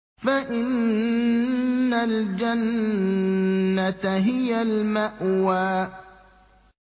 فَإِنَّ الْجَنَّةَ هِيَ الْمَأْوَىٰ